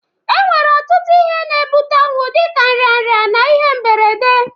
E nwere ọtụtụ ihe na-abata ọnwụ dịka nrịanrịa na ihe mberede.